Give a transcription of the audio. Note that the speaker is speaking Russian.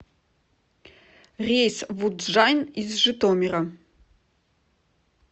рейс в удджайн из житомира